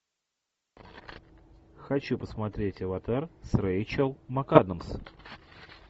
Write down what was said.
хочу посмотреть аватар с рэйчел макадамс